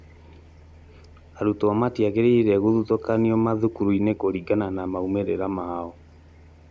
Arutwo matiagĩrĩire gũthutũkanio mathukuru-inĩ kũringana na maũmĩrĩra mao